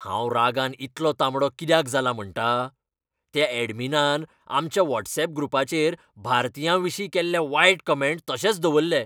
हांव रागान इतलो तांबडो कित्याक जाला म्हणटा? त्या अॅडमिनान आमच्या व्हॉट्सऍप ग्रुपाचेर भारतीयांविशीं केल्ले वायट कमँट तशेच दवरले.